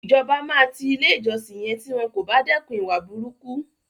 Ìjọba máa ti ilé ìjọsìn yẹn tí wọn kò bá dẹ́kun ìwà burúkú.